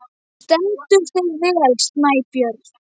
Þú stendur þig vel, Snæbjörn!